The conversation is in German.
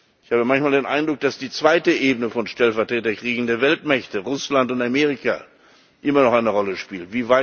Ich habe manchmal den Eindruck, dass die zweite Ebene von Stellvertreterkriegen der Weltmächte Russland und Amerika immer noch eine Rolle spielt.